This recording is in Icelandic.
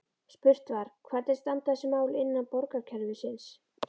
Spurt var: Hvernig standa þessi mál innan borgarkerfisins?